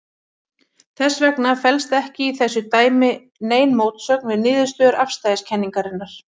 Þess vegna felst ekki í þessu dæmi nein mótsögn við niðurstöður afstæðiskenningarinnar.